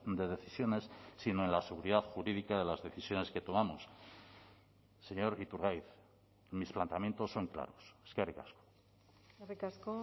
de decisiones sino en la seguridad jurídica de las decisiones que tomamos señor iturgaiz mis planteamientos son claros eskerrik asko eskerrik asko